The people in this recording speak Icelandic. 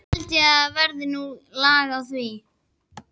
Það held ég verði nú lag á því.